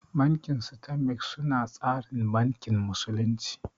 Banki stanbik su na tsarin bankin musulunci